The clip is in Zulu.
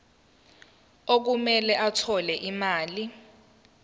okumele athole imali